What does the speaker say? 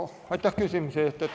Aitäh küsimuse eest!